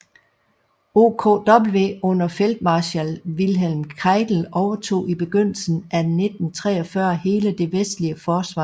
OKW under feltmarskal Wilhelm Keitel overtog i begyndelsen af 1943 hele det vestlige forsvarsområde